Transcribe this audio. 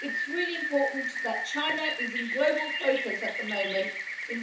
It's really important that China is in global focus at the moment,